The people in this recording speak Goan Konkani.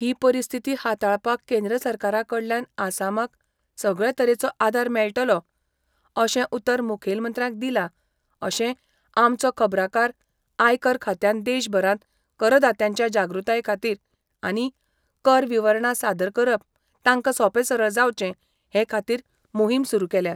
ही परिस्थिती हाताळपाक केंद्र सरकारा कडल्यान आसामाक सगळे तरेचो आदार मेळटलो अशें उतर मुखेलमंत्र्याक दिला अशें आमचो खबराकार आयकर खात्यान देशभरांत करदात्यांच्या जागृताये खातीर आनी कर विवरणा सादर करप तांकां सोंपे सरळ जावचें हे खातीर मोहीम सुरू केल्या.